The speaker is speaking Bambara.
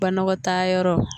Banɔgɔtaa yɔrɔ